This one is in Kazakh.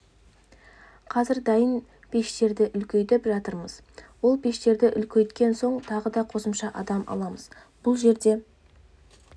қазір дайын пештерді үлкейтіп жатырмыз ол пештерді үлкейткен соң тағы да қосымша адам аламыз бұл жерде